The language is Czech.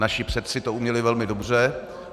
Naši předci to uměli velmi dobře.